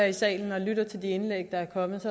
i salen og lytter til de indlæg der er kommet